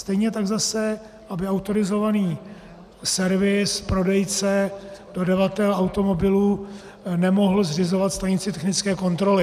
Stejně tak zase, aby autorizovaný servis, prodejce, dodavatel automobilů nemohl zřizovat stanici technické kontroly.